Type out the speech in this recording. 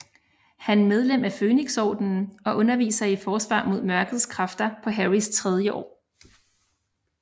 Han medlem af Fønixordenen og underviser i Forsvar mod Mørkets Kræfter på Harrys tredje år